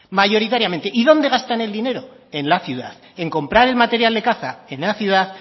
mayoritariamente y dónde gastan el dinero en la ciudad en comprar el material de caza en la ciudad